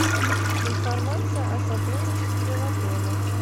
информация о сотрудничестве в отеле